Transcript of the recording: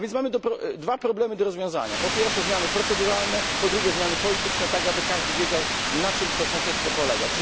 A więc mamy dwa problemy do rozwiązania po pierwsze zmiany proceduralne, po drugie zmiany polityczne, tak aby każdy wiedział, na czym to sąsiedztwo polega.